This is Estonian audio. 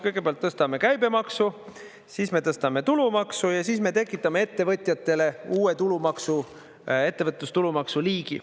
Kõigepealt tõstame käibemaksu, siis me tõstame tulumaksu ja siis me tekitame ettevõtjatele uue tulumaksu, ettevõtlustulumaksu liigi.